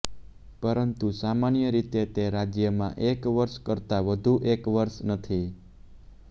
પરંતુ સામાન્ય રીતે તે આ રાજ્યમાં એક વર્ષ કરતાં વધુ એક વર્ષ નથી